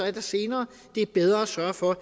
er der senere det er bedre at sørge for at